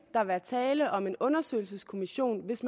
der være tale om en undersøgelseskommission hvis